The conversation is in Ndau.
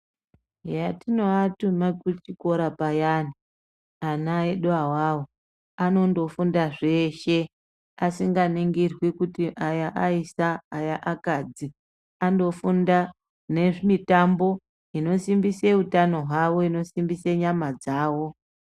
Eya ,patinoatuma kuchikora payani ana edu awawo anondofunda zveshe asinganingirwi kuti aya aisa aya akadzi anofunda nemitambo inosimbise utano hwavo inosimbise nyama dzawo.